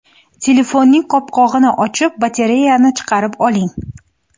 Telefonning qopqog‘ini ochib, batareyani chiqarib oling.